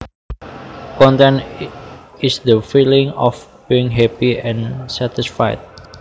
Content is the feeling of being happy and satisfied